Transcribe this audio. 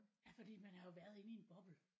Ja fordi man har jo været inde i en bobbel